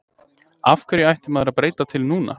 Af hverju ætti maður að breyta til núna?